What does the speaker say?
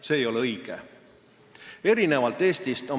See ei ole õige.